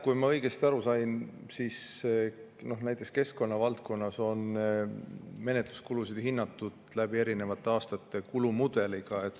Kui ma õigesti aru sain, siis näiteks keskkonna valdkonnas on menetluskulusid hinnatud eri aastate jooksul kulumudeliga.